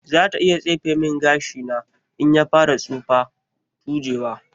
Zata iya tsefe min gashina in ya fara tsufa/tujewa.